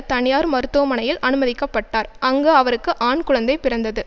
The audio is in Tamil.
தனியார் மருத்துவமனையில் அனுமதிக்க பட்டார் அங்கு அவருக்கு ஆண் குழந்தை பிறந்தது